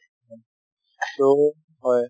so হয়।